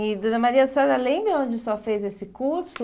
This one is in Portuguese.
E, Dona Maria, a senhora lembra onde a senhora fez esse curso?